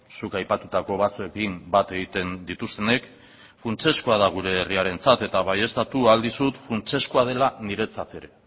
zuk aipatutako batzuekin bat egiten dituztenek funtsezkoa da gure herriarentzat eta baieztatu ahal dizut funtsezkoa dela niretzat ere